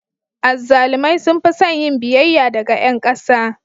Azzalumai sun fi son yin biyayya daga ƴan ƙasa.